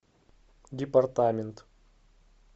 департамент